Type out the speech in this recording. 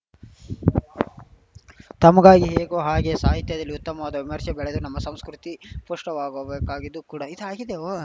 ತಮಗಾಗಿ ಹೇಗೋ ಹಾಗೇ ಸಾಹಿತ್ಯದಲ್ಲಿ ಉತ್ತಮವಾದ ವಿಮರ್ಶೆ ಬೆಳೆದು ನಮ್ಮ ಸಂಸ್ಕೃತಿ ಪುಷ್ಟವಾಗುವುದಬೇಕಾಗಿದೂ ಕೂಡ ಇದಾಗಿದೆ ಕೂಡಾ ಓ